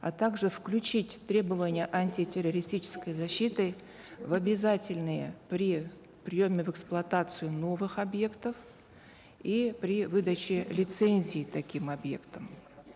а также включить требования антитеррористической защиты в обязательные при приеме в эксплуатацию новых объектов и при выдаче лицензий таким объектам